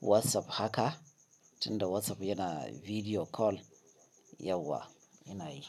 WhatsApp haka tunda WhatsApp yana bidiyo call yauwa ina yi.